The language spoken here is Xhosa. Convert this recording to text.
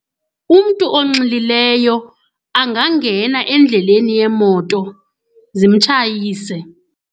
Umntu onxilileyo angangena endleleni yeemoto zimtshayise.